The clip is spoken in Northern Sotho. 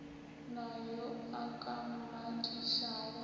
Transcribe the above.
na yo a ka mmakišago